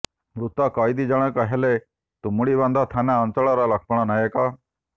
ମୃତ କଏଦୀ ଜଣକ ହେଲେ ତୁମୁଡିବନ୍ଧ ଥାନା ଅଞ୍ଚଳର ଲକ୍ଷ୍ମଣ ନାୟକ